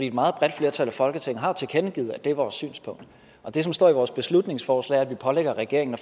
et meget bredt flertal af folketinget har jo tilkendegivet at det er vores synspunkt og det som står i vores beslutningsforslag er at vi pålægger regeringen at